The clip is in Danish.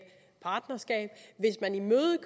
partnerskab